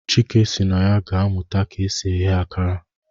Chike si na ya ga amuta ka esi ighe akara.